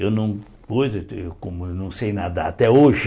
Eu não pude eu não sei nadar até hoje.